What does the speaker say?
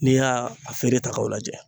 N'i y'a a feere ta k'o lajɛ